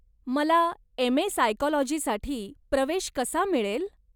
मला एम.ए. सायकॉलजीसाठी प्रवेश कसा मिळेल?